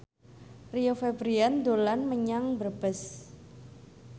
Rio Febrian dolan menyang Brebes